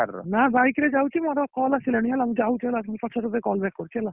ନା bike ରେ ଯାଉଛି ମୋର call ଆସିଲାଣି ହେଲା ମୁ ଯାଉଛି ହେଲା ମୁ ପଛରେ ତତେ call back କରୁଛି ହେଲା